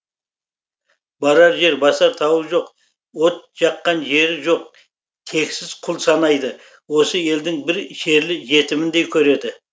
барар жер басар тауы жоқ от жаққан жері жоқ тексіз құл санайды осы елдің бір шерлі жетіміндей көреді